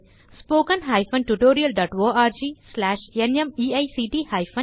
மேலும் விவரங்களுக்கு 1 மூலப்பாடம் டேலன்ட்ஸ்பிரின்ட்